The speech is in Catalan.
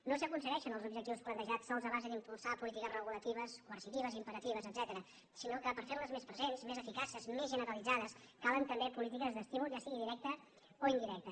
no s’aconsegueixen els objectius plantejats sols a base d’impulsar polítiques regulatives coercitives impera·tives etcètera sinó que per fer·les més presents més eficaces més generalitzades calen també polítiques d’estímul ja sigui directe o indirecte